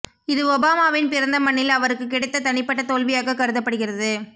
இது ஒபாமாவின் பிறந்த மண்ணில் அவருக்குக் கிடைத்த தனிப்பட்ட தோல்வியாகக் கருதப்படுகிறது